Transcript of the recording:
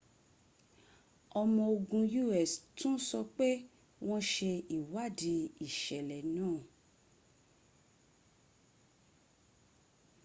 ọmo ogun us tún sọ pé wọ́n ṣe ìwádìí ìṣẹ̀lẹ̀ náà